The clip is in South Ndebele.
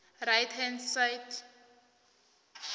right hand side